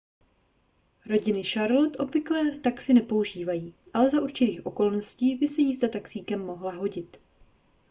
rodiny v charlotte obvykle taxi nepoužívají ale za určitých okolností by se jízda taxíkem mohla hodit